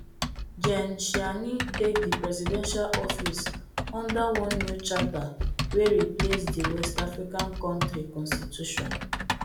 gen tchiani take di presidential office under one new charter wey replace di west african kontri constitution